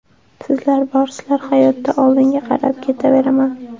Sizlar borsizlar, hayotda oldinga qarab ketaveraman.